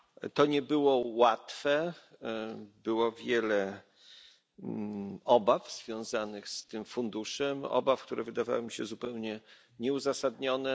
To nie było łatwe, było wiele obaw związanych z tym funduszem, obaw, które wydawały mi się zupełnie nieuzasadnione.